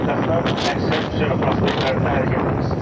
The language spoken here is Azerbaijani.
Paytaxtdan əksər küçə və prospektlərində hərəkət edirsiz.